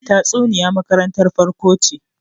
tatsuniya makarantar farko ce